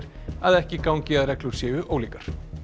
að ekki gangi að reglur séu ólíkar